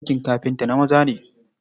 Aikin kafinta na maza ne.